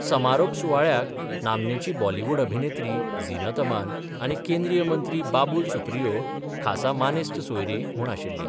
समारोप सुवाळ्याक नामनेची बॉलिवूड अभिनेत्री झिनत अमान आनी केंद्रीय मंत्री बाबूल सुप्रियो खासा मानेस्त सोयरीं म्हूण आशिल्लीं.